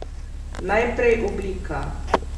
Najprej oblika.